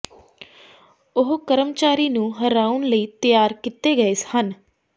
ਉਹ ਕਰਮਚਾਰੀ ਨੂੰ ਹਰਾਉਣ ਲਈ ਤਿਆਰ ਕੀਤੇ ਗਏ ਹਨ